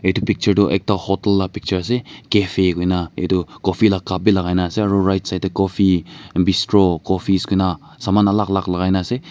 itu picture toh ekta hotel laga picture ase cafe kuri kena itu coffee laga cup bi lagai kena ase aro right side te coffee bistro coffees kuri kena saman alag alag lagai kena ase.